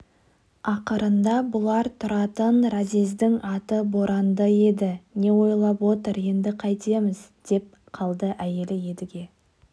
ақырында бұлар тұратын разъездің аты боранды еді не ойлап отыр енді қайтеміз деп қалды әйелі едіге